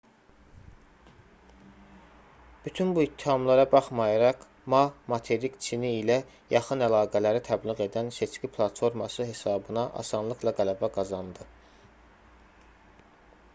bütün bu ittihamlara baxmayaraq ma materik çini ilə yaxın əlaqələri təbliğ edən seçki platforması hesabına asanlıqla qələbə qazandı